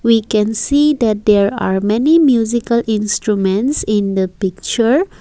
We can see that there are many musical instrument in the picture.